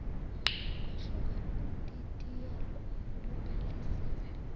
kwahluka kudidiyelo olubhalisiwe